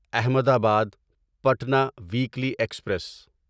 احمد آباد Patna weekly express